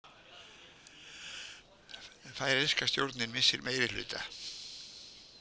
Færeyska stjórnin missir meirihluta